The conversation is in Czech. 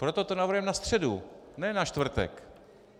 Proto to navrhujeme na středu, ne na čtvrtek.